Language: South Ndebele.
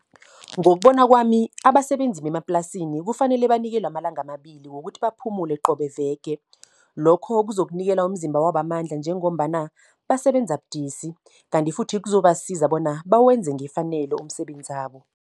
Ngokubona kwami, abasebenzi bemaplasini kufanele banikelwe amalanga amabili, wokuthi baphumule qobe veke. Lokho kuzokunikela umzimba wabo amandla, njengombana basebenza budisi. Kanti futhi kuzobasiza bona bewenze ngefanelo umsebenzabo.